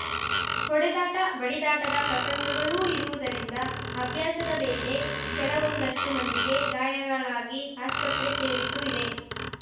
ಹೊಟೆದಾಟ ಬಡಿದಾಟದ ಪ್ರಸಂಗಗಳೂ ಇರುವುದರಿಂದ ಅಭ್ಯಾಸದ ವೇಳೆ ಕೆಲವೊಂದಷ್ಟುಮಂದಿಗೆ ಗಾಯಗಳಾಗಿ ಆಸ್ಪತ್ರೆ ಸೇರಿದ್ದೂ ಇದೆ